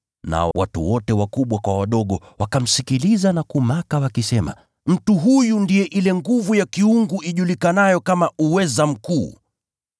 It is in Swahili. nao watu wote wakubwa kwa wadogo wakamsikiliza na kumaka, wakisema “Mtu huyu ndiye uweza wa Mungu ujulikanao kama ‘Uweza Mkuu.’ ”